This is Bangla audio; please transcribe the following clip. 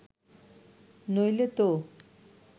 নইলে তো